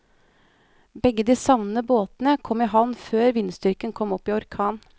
Begge de savnede båtene kom i havn før vindstyrken kom opp i orkan.